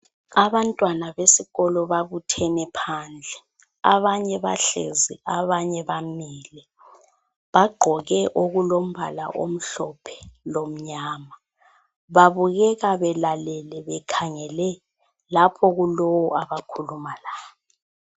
Abantwana besikolo babuthene phandle. Abanye bahlezi abanye bamile. Bagqoke okulombala omhlophe lomnyama. Babukeka belalele bekhangele lapho okulalowu abakhuluma laye.